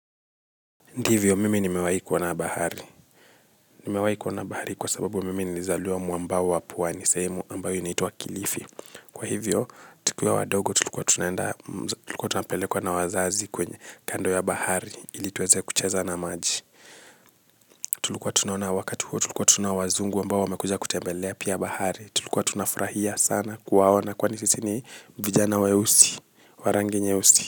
Ndivyo mimi nimewahi kuona bahari nimewahi kuona bahari kwa sababu mimi nilizaliwa mwamba wa pwani sehemu ambayo inaitwa kilifi. Kwa hivyo, tikiwa wadogo tulikuwa tunaenda, tulikuwa tunapelekwa na wazazi kwenye kando ya bahari ili tuweze kucheza na maji. Tulikuwa tunaona wakati huo, tulikuwa tu na wazungu ambayo wamekuja kutembelea pia bahari. Tulikuwa tunafurahia sana kuwaona kwani sisi ni vijana weusi, wa rangi nyeusi.